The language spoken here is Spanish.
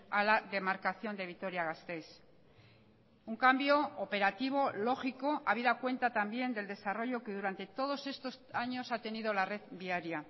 a la demarcación de vitoria gasteiz un cambio operativo lógico habida cuenta también del desarrollo que durante todos estos años ha tenido la red viaria